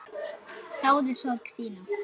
Þáði sorg þína.